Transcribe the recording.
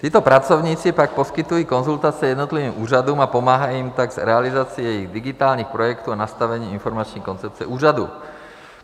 Tito pracovníci pak poskytují konzultace jednotlivým úřadům a pomáhají jim tak s realizací jejich digitálních projektů a nastavením informační koncepce úřadů.